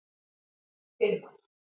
Hilmar